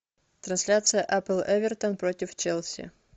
трансляция апл эвертон против челси